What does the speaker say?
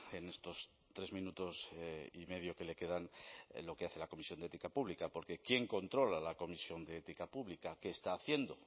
en estos tres minutos y medio que le quedan en lo que hace la comisión de ética pública porque quién controla la comisión de ética pública qué está haciendo